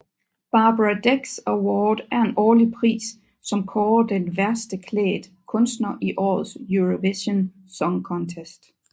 Barbara Dex Award er en årlig pris som kårer den værste klædt kunstner i årets Eurovision Song Contest